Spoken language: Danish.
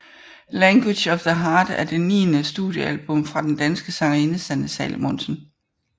Language of the Heart er det niende studiealbum fra den danske sangerinde Sanne Salomonsen